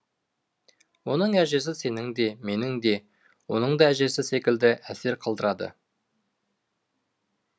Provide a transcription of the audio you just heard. оның әжесі сенің де менің де оның да әжесі секілді әсер қалдырады